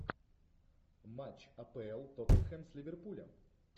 матч апл тоттенхэм с ливерпулем